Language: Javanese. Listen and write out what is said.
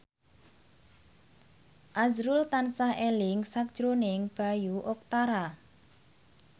azrul tansah eling sakjroning Bayu Octara